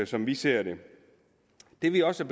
som vi ser det det vi også